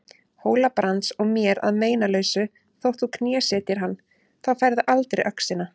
Hóla-Brands og mér að meinalausu þótt þú knésetjir hann, þá færðu aldrei öxina.